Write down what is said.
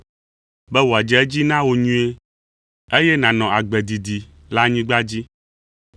“be wòadze edzi na wò nyuie, eye nànɔ agbe didi le anyigba dzi.”